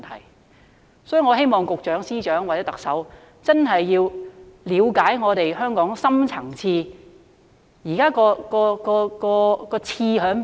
有鑒於此，我希望局長、司長或特首要真正了解香港的深層次問題。